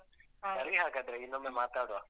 ಸರಿ ಹಾಗಾದ್ರೆ ಇನ್ನೊಮ್ಮೆ ಮಾತಾಡುವ.